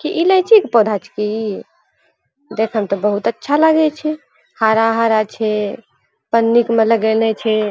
की इलाइची के पौधा छे की। देखे में तो बहुत अच्छा लागी छे। हरा-हरा छे पन्नी इका में लगैले छे।